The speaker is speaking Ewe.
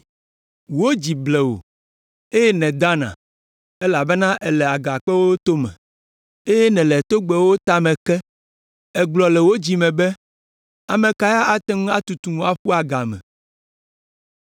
Wò dzi ble wò, eye nèdana elabena èle agakpewo tome, eye nèle togbɛwo tame ke. Ègblɔ le wò dzi me be: ‘Ame kae ate ŋu atutum aƒu agame?’